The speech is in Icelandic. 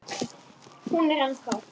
Hún er ennþá.